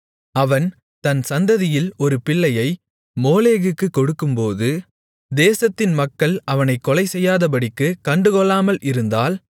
அவன் தன் சந்ததியில் ஒரு பிள்ளையை மோளேகுக்குக் கொடுக்கும்போது தேசத்தின் மக்கள் அவனைக் கொலைசெய்யாதபடிக்குக் கண்டுகொள்ளாமல் இருந்தால்